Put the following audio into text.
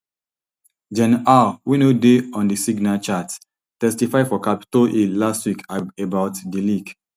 gen haugh wey no dey on di signal chat testify for capitol hill last week about di leak